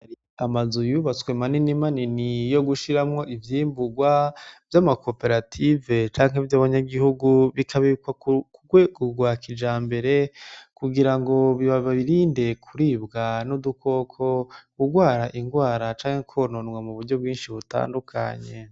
Amazu yubatswe manini manini yo gushiramwo ivyimburwa vy'amakoperative canke vy'abanyagihugu bikabikwa ku rwego rwa kijambere kugira ngo babirinde kuribwa n'udukoko, kugwara ingwara canke kwononwa mu buryo bwinshi butandukanye.